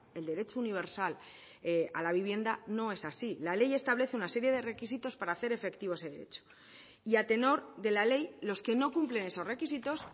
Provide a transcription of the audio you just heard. el derecho universal a la vivienda no es así la ley establece una serie de requisitos para hacer efectivo ese derecho y a tenor de la ley los que no cumplen esos requisitos